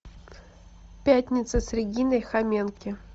пятница с региной хоменки